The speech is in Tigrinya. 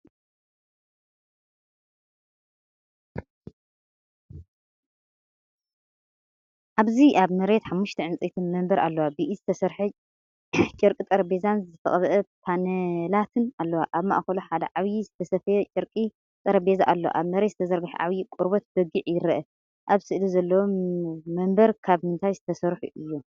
ኣብዚ ኣብ መሬት ሓሙሽተ ዕንጨይቲ መንበር ኣለዋ፣ ብኢድ ዝተሰርሐ ጨርቂ ጠረጴዛን ዝተቐብአ ፓነላትን ኣለወን። ኣብ ማእከሉ ሓደ ዓቢ ዝተሰፍየ ጨርቂ ጠረጴዛ ኣሎ። ኣብ መሬት ዝተዘርግሐ ዓብይ ቆርበት በጊዕ ይረአ። ኣብ ስእሊ ዘለዉ መንበር ካብ ምንታይ ዝተሰርሑ እዮም?